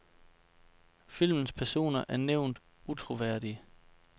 Filmens personer er jævnt utroværdige.